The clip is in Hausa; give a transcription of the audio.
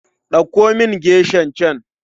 Ɗauko min geshan can.